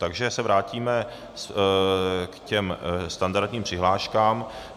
Takže se vrátíme k těm standardním přihláškám.